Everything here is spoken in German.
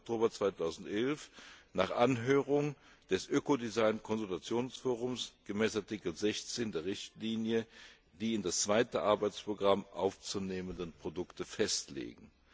21. Oktober 2011 nach Anhörung des Ökodesign Konsultationsforums gemäß Artikel 16 der Richtlinie die in das zweite Arbeitsprogramm aufzunehmenden Produkte festlegen.